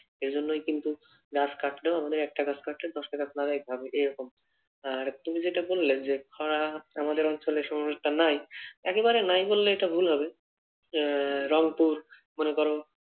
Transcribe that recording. এই জন্যই কিন্তু গাছ কাটলেও আমাদের একটা গাছ কাটলেও দশটা গাছ লাগাতে হবে এরকম। আর তুমি যেটা বললে যে, খরা আমাদের অঞ্চলে সম্ভবত নাই একেবারে নাই বললে এটা ভুল হবে। আহ রংপুর মনে কর,